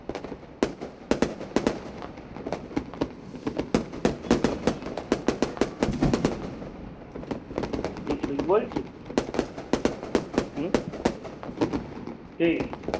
কি ঠিক বলছি হমম কি